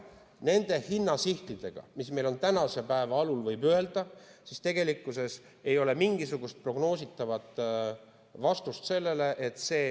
Nende hinnasihtide põhjal, mis meil on tänasel päeval, võib öelda, et ei ole mingisugust prognoositavat vastust.